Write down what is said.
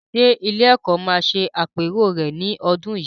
Ṣé ilé-ẹ̀kọ́ máa ṣe àpérò rẹ̀ ní ọdún yìí?